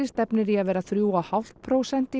stefnir í að verða þrjú og hálft prósent